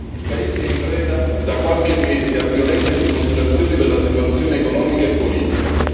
Il paese è in preda, da qualche mese, a violente dimostrazioni per la situazione economica e politica.